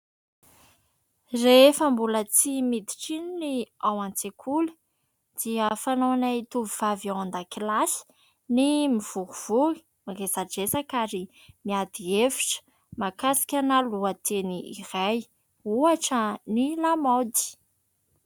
Rehefa mbola tsy miditra iny ny ao an-tsekoly dia fanaonay tovovavy ao an-dakilasy ny mivorivory, miresadresaka ary miady hevitra mahakasikana lohateny iray ohatra ny lamaody.